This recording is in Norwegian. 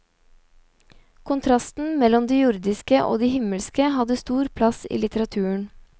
Kontrasten mellom det jordiske og det himmelske hadde stor plass i litteraturen.